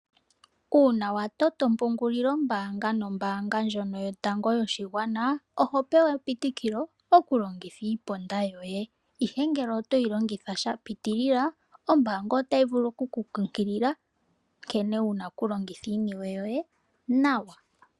Uuna watoto ompungulilo mbaanga nombaanga ndjoka yotango yopashigwana oho pewa epitikilo okulongitha iiponda yoye ihe ngele otoyi longitha shapiitilila, ombaanga otayi vulu okukunkukilila nkene wuna okulongitha iinewe yoye nawa.